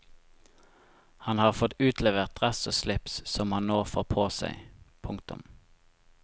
Han har fått utlevert dress og slips som han nå får på seg. punktum